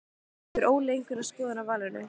Hefur Óli einhverja skoðun á valinu?